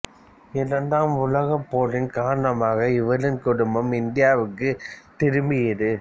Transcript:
இரண்டாம் உலகப் போரின் காரணமான இவரின் குடும்பம் இந்தியாவிற்கு திரும்பியது